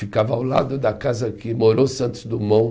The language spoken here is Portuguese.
Ficava ao lado da casa que morou Santos Dumont,